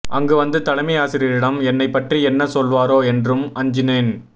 அங்கு வந்து தலைமை ஆசிரியரிடம் என்னைப் பற்றி என்ன சொல்வாரோ என்றும் அஞ்சினேன்